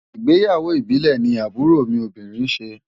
Ìgbéyàwó ìbílẹ̀ ni àbúrò mi obìnrin ṣe.